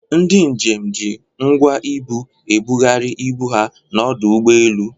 Ndị njem ji ngwa ibu ebugharị ibu ha n'ọdụ ụgbọelu.